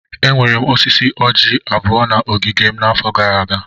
Enwere m osisi orji abụọ na ogige m n'afọ gara aga.